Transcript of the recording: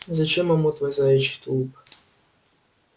зачем ему твой заячий тулуп